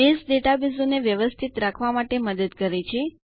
base ડેટાબેઝોને વ્યવસ્થિત રાખવા માટે મદદ કરે છે